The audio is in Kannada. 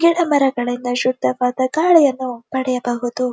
ಗಿಡ ಮರಗಳಿಂದ ಶುದ್ಧವಾದ ಗಾಳಿಯನ್ನು ಪಡೆಯಬಹುದು.